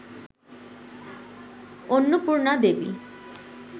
Annapurna Devi